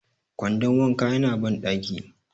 kwandon wanka yana bandaki